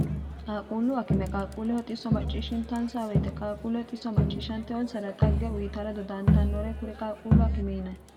qaaquullu akime qaaqquulle hoxisso macciishshintansa woyite qaaquulle hoxisso macciishshanteolsara xagge uyitara dudaantannore kuri qaaquullu akimiina